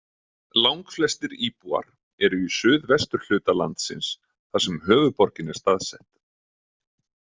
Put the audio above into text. Langflestir íbúar eru í suðvesturhluta landsins þar sem höfuðborgin er staðsett.